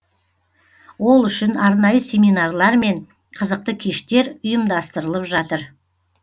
ол үшін арнайы семинарлар мен қызықты кештер ұйымдастырылып жатыр